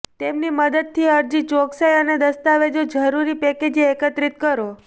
તેમની મદદથી અરજી ચોકસાઈ અને દસ્તાવેજો જરૂરી પેકેજ એકત્રિત કરો